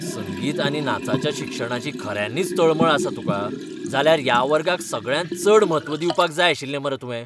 संगीत आनी नाचाच्या शिक्षणाची खऱ्यांनीच तळमळ आसा तुका, जाल्यार ह्या वर्गाक सगळ्यांत चड म्हत्व दिवपाक जाय आशिल्लें मरे तुवें.